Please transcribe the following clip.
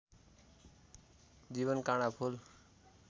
जीवन काँडा फूल